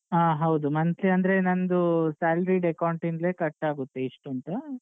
ಆ ಹೌದು monthly ಅಂದ್ರೆ ನಂದೂ salaried account ಇಂದ್ಲೇ cut ಆಗುತ್ತೆ ಇಷ್ಟು ಅಂತ.